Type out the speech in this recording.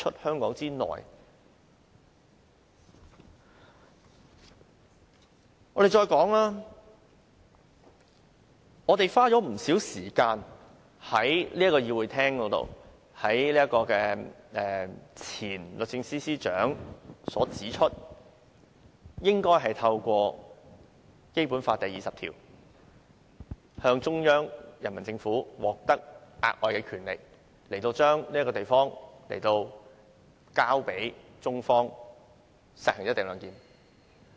再者，過去大家花了不少時間在議事廳內討論前律政司司長的建議，他指出應該透過《基本法》第二十條，由中央人民政府授予權力，令這個地方可交付予中方實行"一地兩檢"。